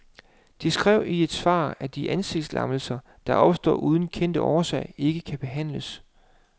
De skrev i et svar, at de ansigtslammelser, der opstår uden kendt årsag, ikke kan behandles.